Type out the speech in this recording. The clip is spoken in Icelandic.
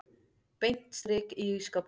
Beint strik í ísskápinn.